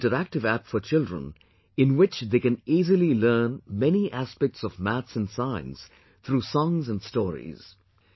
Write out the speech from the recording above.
This is an interactive app for children in which they can easily learn many aspects of maths and science through songs and stories